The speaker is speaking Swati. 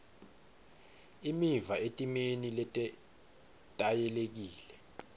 imiva etimeni letetayelekile